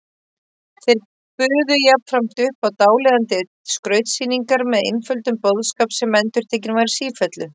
Þeir buðu jafnframt upp á dáleiðandi skrautsýningar með einföldum boðskap sem endurtekinn var í sífellu.